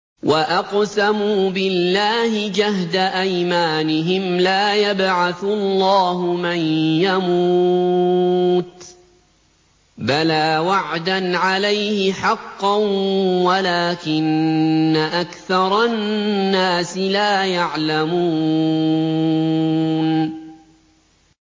وَأَقْسَمُوا بِاللَّهِ جَهْدَ أَيْمَانِهِمْ ۙ لَا يَبْعَثُ اللَّهُ مَن يَمُوتُ ۚ بَلَىٰ وَعْدًا عَلَيْهِ حَقًّا وَلَٰكِنَّ أَكْثَرَ النَّاسِ لَا يَعْلَمُونَ